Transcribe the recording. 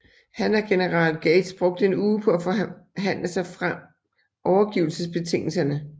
Han og general Gates brugte en uge på at forhandle sig frem overgivelsesbetingelserne